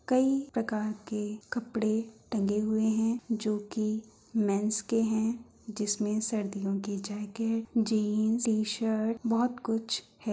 ''कई प्रकार के कपड़े टंगे हुए है जो कि मेंस के हैं जिसमे सर्दियों के जैकेट जीन्स टी-शर्ट बोहोत कुछ है।''